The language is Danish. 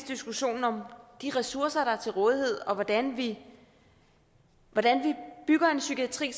diskussionen om de ressourcer der er til rådighed og om hvordan vi bygger en psykiatri